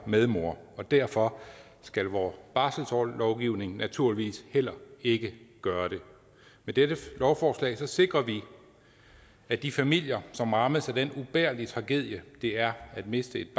og medmor og derfor skal vores barselslovgivning naturligvis heller ikke gøre det med dette lovforslag sikrer vi at de familier som rammes af den ubærlige tragedie det er at miste et